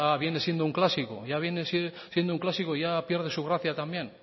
viene siendo un clásico ya pierde su gracia también